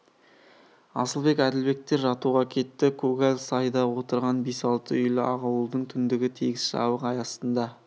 асылбек әділбектер жатуға кетті көгал сайда отырған бес-алты үйлі ақ ауылдың түндігі тегіс жабық ай астында